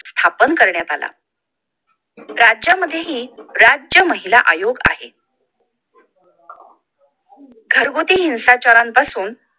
स्थापन करण्यात आला राज्यांमध्येही राज्य महिला आयोग आहे घरगुती हिंसाचारापासून